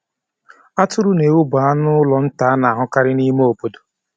Atụrụ na ewu bụ anụ ụlọ nta a na-ahụkarị n'ụlọ ime obodo.